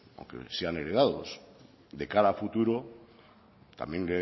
aunque sean heredados de cara a futuro también